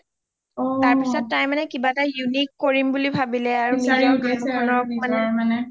তাৰ পিছত তাই মানে কিবা এটা unique কৰিম বুলি ভাবিলে আৰু